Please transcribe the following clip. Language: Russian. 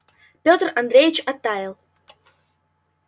и петр андреевич оттаял